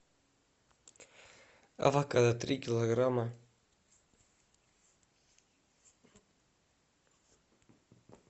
авокадо три килограмма